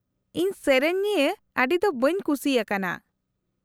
-ᱤᱧ ᱥᱮᱹᱨᱮᱹᱧ ᱱᱤᱭᱟᱹ ᱟᱹᱰᱤ ᱫᱚ ᱵᱟᱹᱧ ᱠᱷᱩᱥᱤ ᱟᱠᱟᱱᱟ ᱾